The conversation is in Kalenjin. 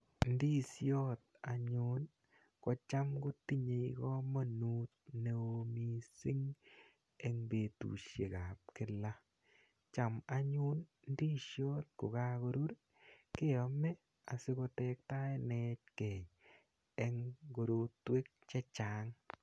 Ndisiot anyun kocham kotinyei komonut neo mising eng betushek ap kila cham anyun ndisiot kokakorur keome asiko tektaenechke eng korotwek che chang.